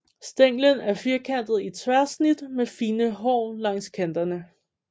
Stænglen er firkantet i tværsnit med fine hår langs kanterne